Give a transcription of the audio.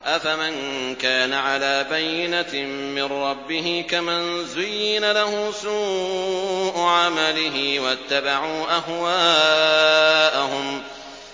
أَفَمَن كَانَ عَلَىٰ بَيِّنَةٍ مِّن رَّبِّهِ كَمَن زُيِّنَ لَهُ سُوءُ عَمَلِهِ وَاتَّبَعُوا أَهْوَاءَهُم